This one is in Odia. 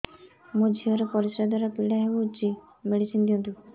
ମୋ ଝିଅ ର ପରିସ୍ରା ଦ୍ଵାର ପୀଡା ହଉଚି ମେଡିସିନ ଦିଅନ୍ତୁ